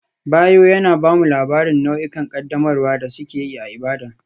Bayo yana ba mu labarin nau'ikan ƙaddamarwa da suke yi a Ibadan.